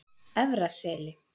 Efra Seli